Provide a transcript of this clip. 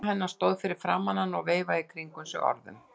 Mamma hennar stóð fyrir framan hana og veifaði í kringum sig orðum.